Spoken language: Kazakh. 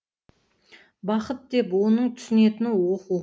бақыт деп оның түсінетіні оқу